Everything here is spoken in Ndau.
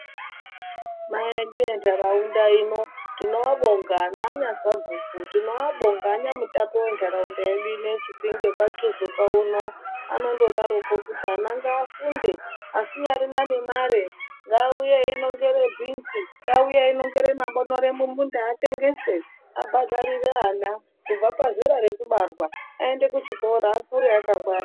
Akuru edu endaraunda ino tino abonga nana sabhuku tino abonga anya mutape we ndaraunda yedu ineyi chipenge kwa tuzuka uno anondo daroko kuti ana nga funde asinyarina ne mare nga uye eyi nongere bhinzi nge uye eyi nongere ma bonere mu munda atengese abhadharire ana kubva pazera reku barwa ayende ku chikora akure aka ngwara.